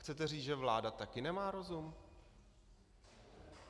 Chcete říct, že vláda taky nemá rozum?